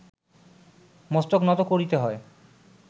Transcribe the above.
মস্তক নত করিতে হয়